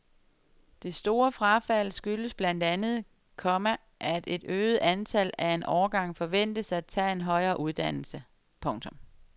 Det store frafald skyldes blandt andet, komma at et øget antal af en årgang forventes at tage en højere uddannelse. punktum